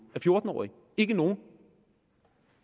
af fjorten årige ikke nogen